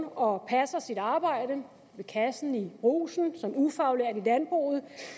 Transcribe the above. og passer sit arbejde ved kassen i brugsen som ufaglært i landbruget